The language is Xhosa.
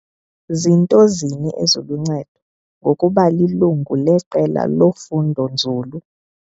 Zinto zini eziluncedo ngokuba lilungu leqela lofundo-nzulu?